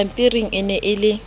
dipampiring e ne e le